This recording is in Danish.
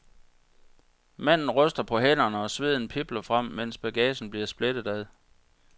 Manden ryster på hænderne og sveden pibler frem, mens bagagen bliver splittet ad.